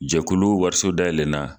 Jɛkulu wariso dayɛlɛnna